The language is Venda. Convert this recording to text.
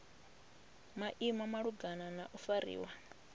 maimo malugana na u fariwa